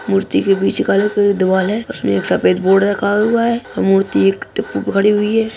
मूर्ति के बीच काला कलर का द्वार है उसमें एक सफ़ेद बोर्ड रखा हुआ है वो मूर्ति हुई है।